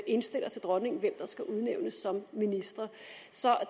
indstiller til dronningen hvem der skal udnævnes som ministre så